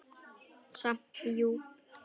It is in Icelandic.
Samt djúp.